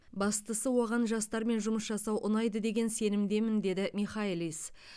бастысы оған жастармен жұмыс жасау ұнайды деген сенімдемін деді михайлис